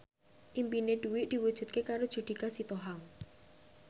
impine Dwi diwujudke karo Judika Sitohang